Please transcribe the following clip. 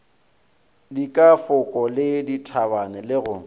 dikafoko le dithabe le go